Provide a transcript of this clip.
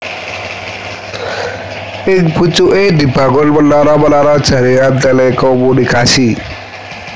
Ing pucuké dibangun menara menara jaringan telekomunikasi